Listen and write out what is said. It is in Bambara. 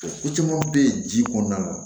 Ko caman bɛ yen ji kɔnɔna na